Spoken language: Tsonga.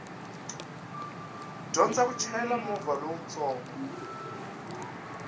dyondza ku chayela movha lowutsongo